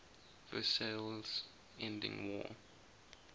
versailles ending world